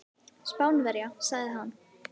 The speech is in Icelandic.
Spánverja, sagði hann.